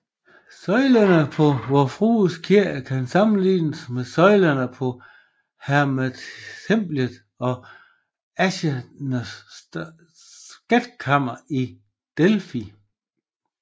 Søjlerne på Vor Frue Kirke kan sammenlignes med søjlerne på Heratemplet og Athernernes skatkammer i Delfi